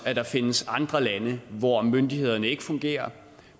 at der findes andre lande hvor myndighederne ikke fungerer